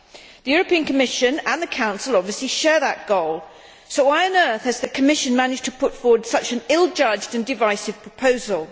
The Commission and the Council obviously share that goal, so why on earth has the Commission managed to put forward such an ill judged and divisive proposal?